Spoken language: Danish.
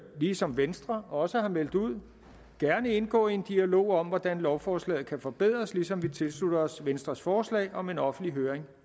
ligesom venstre også har meldt ud gerne indgå i en dialog om hvordan lovforslaget kan forbedres ligesom vi tilslutter os venstres forslag om en offentlig høring